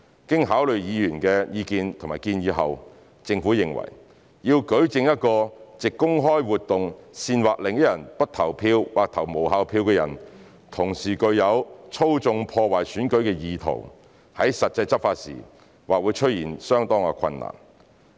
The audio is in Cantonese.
經考慮議員的意見及建議後，政府認為，要舉證一個藉公開活動煽惑另一人不投票或投無效票的人，同時具有"操縱、破壞選舉"的意圖，在實際執法時或會出現相當困難。